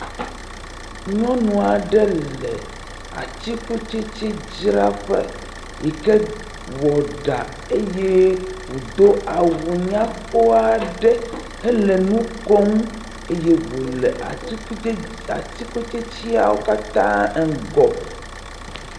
Nyɔnu aɖe le atsikutsetsedzraƒe yi ke wɔ ɖa eye wòdo awu nyakpɔ aɖe hele nu kom. Eye wòle atikutsets, atikutstetsea ŋgɔ.